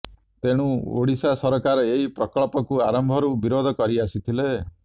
ତେଣୁ ଓଡିଶା ସରକାର ଏହି ପ୍ରକଳ୍ପକୁ ଆରମ୍ଭରୁ ବିରୋଧ କରିଆସିଥିଲେ